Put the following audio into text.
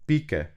Pike.